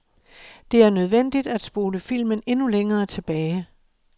Det er nødvendigt at spole filmen endnu længere tilbage.